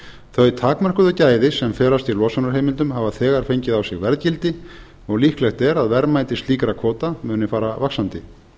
þau takmörkuðu gæði sem felast í losunarheimildum hafa þegar fengið á sig verðgildi og líklegt er að verðmæti slíkra kvóta muni fara vaxandi